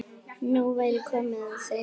Nú væri komið að þeim.